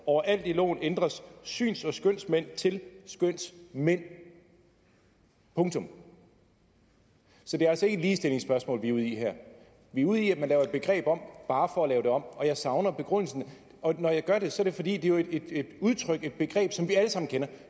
overalt i loven ændres syns og skønsmænd til skønsmænd punktum så det er altså ikke et ligestillingsspørgsmål vi er ude i her vi er ude i at man laver begreber om bare for at lave dem om og jeg savner begrundelsen og når jeg gør det så er det fordi det er et et udtryk et begreb som vi alle sammen kender